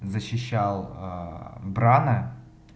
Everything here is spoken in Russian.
защищал аа брана